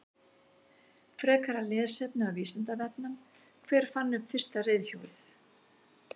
Frekara lesefni af Vísindavefnum: Hver fann upp fyrsta reiðhjólið?